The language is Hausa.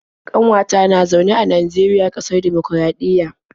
ƙanwata na zaune a Najeriya, ƙasar dimokuraɗiyya